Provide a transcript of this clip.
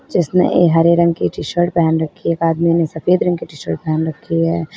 जिसने ए हरे रंग की टी शर्ट पहन रखी है एक आदमी ने सफेद रंग की टी शर्ट पहन रखी है।